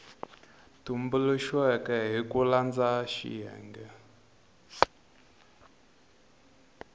tumbuluxiweke hi ku landza xiyenge